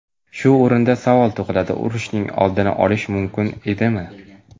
Shu o‘rinda savol tug‘iladi: urushning oldini olish mumkin edimi?